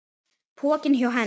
Pokinn hjá Hend